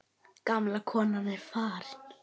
Gamla konan er farin.